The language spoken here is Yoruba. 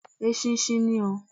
Eṣinṣin ni oo.